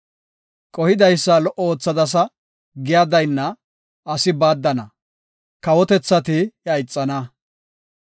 Qohidaysa lo77o oothadasa giya daynna, asi baaddana; kawotethati iya ixana.